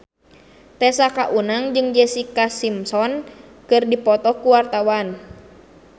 Tessa Kaunang jeung Jessica Simpson keur dipoto ku wartawan